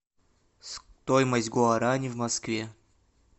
стоимость гуарани в москве